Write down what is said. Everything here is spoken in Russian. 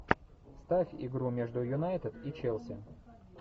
ставь игру между юнайтед и челси